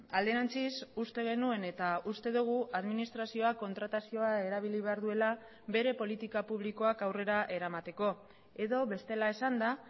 alderantziz uste genuen eta uste dugu administrazioak kontratazioa erabili behar duela bere politika publikoak aurrera eramateko edo bestela esanda